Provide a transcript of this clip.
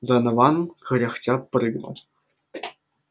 донован кряхтя прыгнул